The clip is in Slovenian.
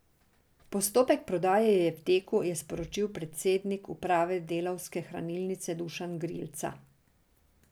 Postopek prodaje je v teku, je sporočil predsednik uprave Delavske hranilnice Dušan Grlica.